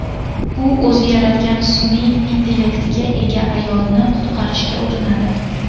U o‘zi yaratgan sun’iy intellektga ega ayolni qutqarishga urinadi.